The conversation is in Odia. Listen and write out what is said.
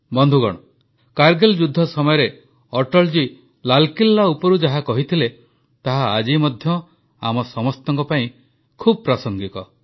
ବନ୍ଧୁଗଣ କାରଗିଲ ଯୁଦ୍ଧ ସମୟରେ ଅଟଳଜୀ ଲାଲକିଲ୍ଲା ଉପରୁ ଯାହା କହିଥିଲେ ତାହା ଆଜି ମଧ୍ୟ ଆମ ସମସ୍ତଙ୍କ ପାଇଁ ବହୁତ ପ୍ରାସଙ୍ଗିକ